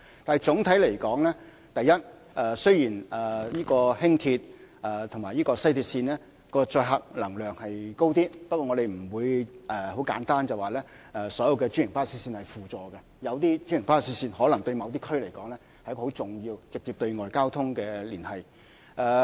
但是，總的來說，第一，雖然輕鐵和西鐵線的可載客量高一點，不過，我們不會簡單說，所有專營巴士線是輔助的，因為有些專營巴士線對某些區來說，是直接對外連接的重要交通工具。